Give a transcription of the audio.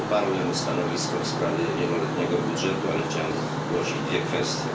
Ja poparłem stanowisko w sprawie wieloletniego budżetu, ale chciałem zgłosić dwie kwestie.